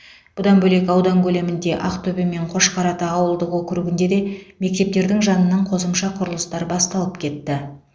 бұдан бөлек аудан көлемінде ақтөбе мен қошқарата ауылдық округінде де мектептердің жанынан қосымша құрылыстар басталып кетті